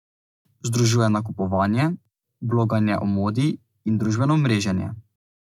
Združuje nakupovanje, bloganje o modi in družbeno mreženje.